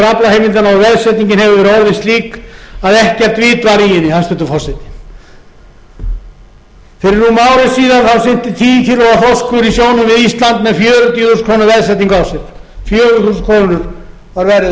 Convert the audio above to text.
og veðsetningin hefur orðið slík að ekkert vit var í henni hæstvirtur forseti fyrir rúmu ári síðan synti tíu kílóa þorskur í sjónum við ísland með fjörutíu þúsund krónur veðsetningu á sér fjögur þúsund krónur var verðið á hverju